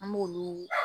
An b'olu